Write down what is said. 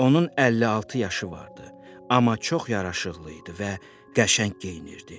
Onun 56 yaşı vardı, amma çox yaraşıqlı idi və qəşəng geyinirdi.